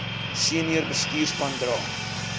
senior bestuurspan dra